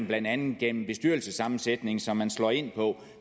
blandt andet gennem bestyrelsessammensætning som man slår ind på